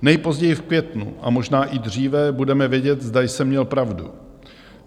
Nejpozději v květnu a možná i dříve budeme vědět, zda jsem měl pravdu."